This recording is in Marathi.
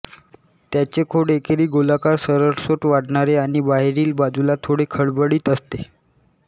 त्याचे खोड एकेरी गोलाकार सरळसोट वाढणारे आणि बाहेरील बाजूला थोडे खडबडीत असते